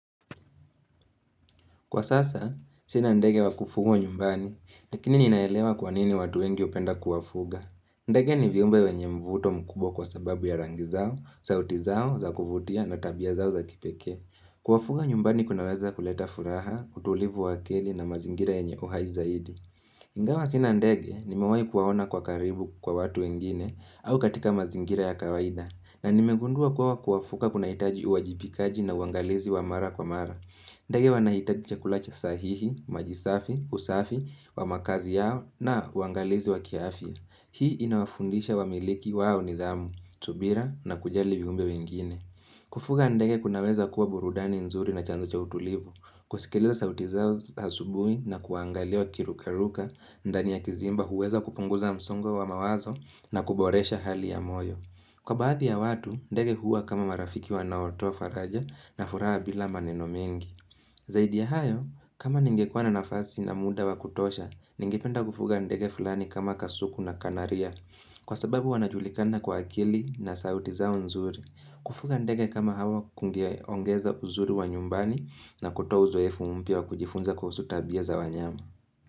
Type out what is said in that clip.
Kwa sasa, sina ndege wa kufugwa nyumbani, lakini ninaelewa kwa nini watu wengi hupenda kuwafuga. Ndege ni viumbe wenye mvuto mkubwa kwa sababu ya rangi zao, sauti zao, za kuvutia na tabia zao za kipekee. Kuwafuga nyumbani kunaweza kuleta furaha, utulivu wa akili na mazingira yenye uhai zaidi. Ingawa sina ndege, nimewahi kuwaona kwa karibu kwa watu wengine au katika mazingira ya kawaida. Na nimegundua kuwa kuwafuga kunahitaji uwajibikaji na uangalizi wa mara kwa mara. Ndege wanahitaji chakula cha sahihi, maji safi, usafi, wa makazi yao na uangalizi wa kiafya. Hii inawafundisha wamiliki wawe nidhamu, subira na kujali viumbe wengine. Kufuga ndege kunaweza kuwa burudani nzuri na chanzo cha utulivu. Kusikiliza sauti zao asubuhi na kuangalia wakiruka ruka, ndani ya kizimba huweza kupunguza msongo wa mawazo na kuboresha hali ya moyo. Kwa baadhi ya watu, ndege huwa kama marafiki wanaotoa faraja na furaha bila maneno mengi. Zaidi ya hayo, kama ningekuwa na nafasi na muda wa kutosha, ningependa kufuga ndege fulani kama kasuku na kanaria. Kwa sababu wanajulikana kwa akili na sauti zao nzuri. Kufuga ndege kama hawa kungeongeza uzuri wa nyumbani na kutoa uzoefu mpya wa kujifunza kuhusu tabia za wanyama.